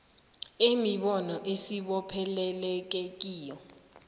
imibono esibopheleleke kiyo